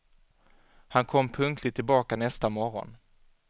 Han kom punktligt tillbaka nästa morgon.